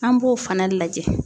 An b'o fana lajɛ.